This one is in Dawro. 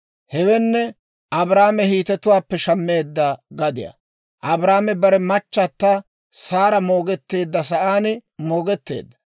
Hewenne Abrahaame Hiitetuwaappe shammeedda gadiyaa. Abrahaame bare machata Saara moogetteedda sa'aan moogetteedda.